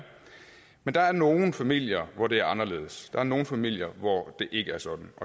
men der er nogle familier hvor det er anderledes der er nogle familier hvor det ikke er sådan